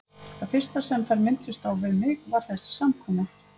Það fyrsta, sem þær minntust á við mig, var þessi samkoma.